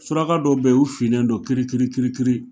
Suraka dɔw be ye u finnen don kirikirikiri